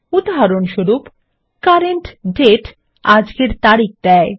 উদাহরণস্বরূপ CURRENT DATE আজকের তারিখ দেয়